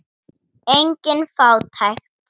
Engin fátækt.